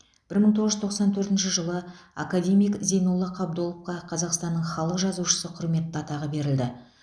бір мың тоғыз жүз тоқсан төртінші жылы академик зейнолла қабдоловқа қазақстанның халық жазушысы құрметті атағы берілді